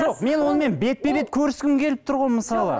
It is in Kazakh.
жоқ мен онымен бетпе бет көріскім келіп тұр ғой мысалы